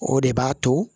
O de b'a to